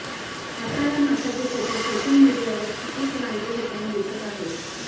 आता या माशाचे फोटो सोशल मीडियावर खूपच व्हायरल होताना दिसत आहेत